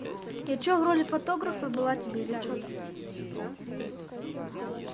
я что в роли фотографа была тебе или что-то